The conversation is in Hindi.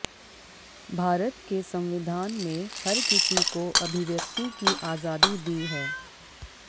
भारत के संविधान में हर किसी को अभिव्यक्ति की आजादी दी है